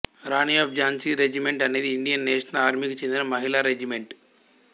Rani of Jhansi regiment అనేది Indian national ఆర్మీకి చెందిన మహిళా రెజిమెంట్